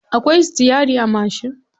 Akwai sitiyari a mashin.